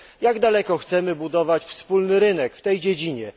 Jak daleko chcemy budować wspólny rynek w tej dziedzinie?